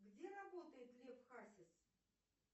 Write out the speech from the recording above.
где работает лев хасис